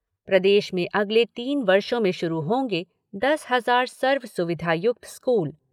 प्रदेश में अगले तीन वर्षों में शुरू होंगे दस हजार सर्व सुविधायुक्त स्कूल